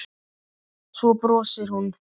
Svo brosir hún.